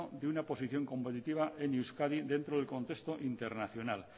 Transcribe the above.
de una posición competitiva en euskadi dentro del contexto internacional